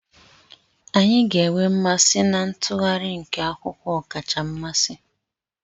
Anyị ga-enwe mmasị na ntụgharị nke akwụkwọ ọkacha mmasị.